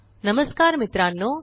नमस्कार मित्रांनो